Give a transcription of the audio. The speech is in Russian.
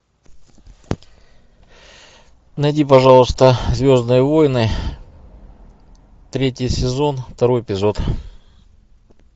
найди пожалуйста звездные войны третий сезон второй эпизод